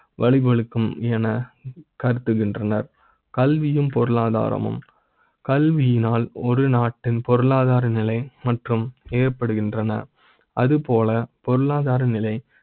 வழிவகுக்கும் என கருதுகின்றனர் கல்வி யும், பொருளாதார மும் கல்வி யினால் ஒரு நாட்டின் பொருளாதார நிலை மற்றும். ஏற்படுகின்றன அது போல பொருளாதார நிலை